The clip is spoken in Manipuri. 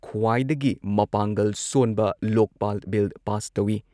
ꯈ꯭ꯋꯥꯏꯗꯒꯤ ꯃꯄꯥꯡꯒꯜ ꯁꯣꯟꯕ ꯂꯣꯛꯄꯥꯜ ꯕꯤꯜ ꯄꯥꯁ ꯇꯧꯏ ꯫